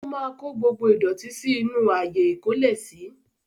O máa kó gbogbo ìdọ̀tí sí inú ààyè ikólẹ̀si